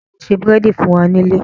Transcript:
Sọ ma se búrèdì fún wa nílé?